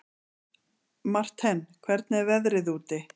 Marthen, hvernig er veðrið úti?